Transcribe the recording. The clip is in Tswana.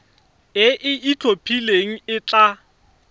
e e itlhophileng e tla